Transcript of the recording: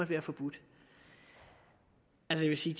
være forbudt jeg vil sige